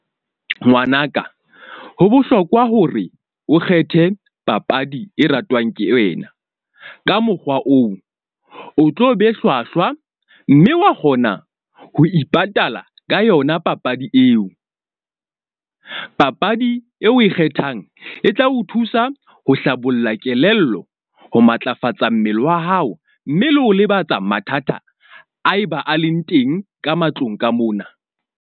Ngwanaka ho bohlokwa hore o kgethe papadi e ratwang ke wena ka mokgwa oo, o tlo be hlwahlwa. Mme wa kgona ho ipatala ka yona papadi eo. Papadi eo o e kgethang e tla o thusa ho hlabolla kelello, ho matlafatsa mmele wa hao, mme le ho lebatsa mathata a eba a leng teng ka matlong ka mona.